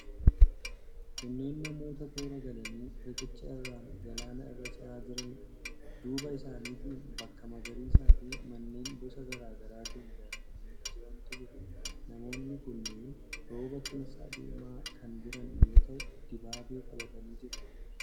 Kunneen namoota toora galanii riqicha irraan galaana irra ce'aa jiraniidha. Duuba isaaniitiin bakka magariisaafi manneen boca garaa garaatiin ijaaramanii jirantu jira. Namoonni kunneen rooba keessa deemaa kan jiran yoo ta'u, dibaabee qabatanii jiru.